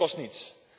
Dat kost niets.